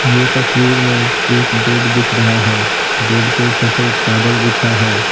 यह तस्वीर में एक बेड दिख रहा है बेड पे सफेद चादर बिछा है।